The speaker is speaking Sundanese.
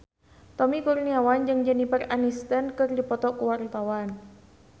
Tommy Kurniawan jeung Jennifer Aniston keur dipoto ku wartawan